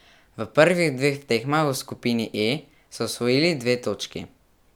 V prvih dveh tekmah v skupini E so osvojili dve točki.